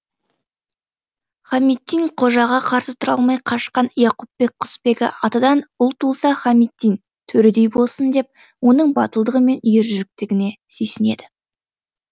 хамиддин қожаға қарсы тұра алмай қашқан яқупбек құсбегі атадан ұл туылса хамиддин төредей болсын деп оның батылдығы мен ержүректігіне сүйсінеді